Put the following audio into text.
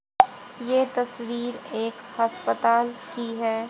ये तस्वीर एक हस्पताल की है।